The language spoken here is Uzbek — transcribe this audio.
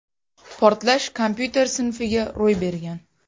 Portlash kompyuter sinfiga ro‘y bergan.